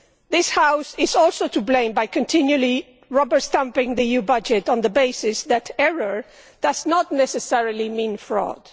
This House is also to blame by continually rubber stamping the EU budget on the basis that error' does not necessarily mean fraud'.